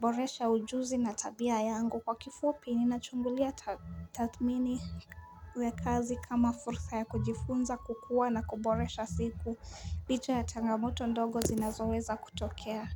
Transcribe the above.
Boresha ujuzi na tabia yangu kwa kifupi ninachungulia taathmini kazi kama fursa ya kujifunza kukua na kuboresha siku licha ya changamoto ndogo zinazoweza kutokea.